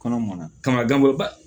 Kɔnɔ mɔna kaman gan bolo ba